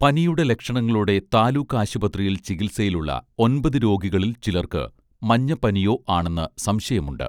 പനിയുടെ ലക്ഷണങ്ങളോടെ താലൂക്ക് ആശുപത്രിയിൽ ചികിൽസയിലുള്ള ഒൻപതു രോഗികളിൽ ചിലർക്കു മഞ്ഞപ്പനിയോ ആണെന്നു സംശയമുണ്ട്